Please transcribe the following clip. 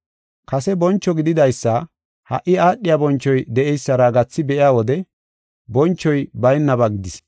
Kase boncho gididaysa ha77i aadhiya bonchoy de7eysara gathi be7iya wode bonchoy baynaba gidis.